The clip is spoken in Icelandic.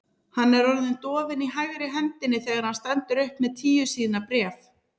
Hann er orðinn dofinn í hægri hendinni þegar hann stendur upp með tíu síðna bréf.